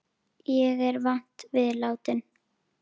Ég er vant við látinn.